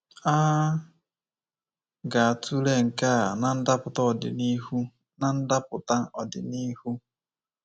A ga-atụle nke a na ndapụta ọdịnihu. na ndapụta ọdịnihu.